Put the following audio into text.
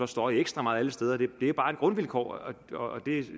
støje ekstra meget alle steder det er bare et grundvilkår og det